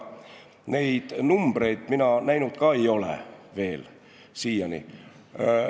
Neid numbreid ka mina siiani veel näinud ei ole.